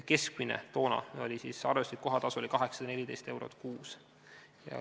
Keskmine arvestuslik kohatasu oli toona 814 eurot kuus.